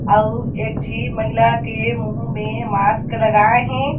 आउ एक झी महिला के मुँह में मास्क लगाए हे।